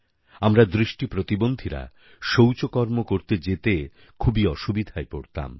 আমরা দৃষ্টি প্রতিবন্ধীরা শৌচকর্ম করতে যেতে খুবই অসুবিধায় পড়তাম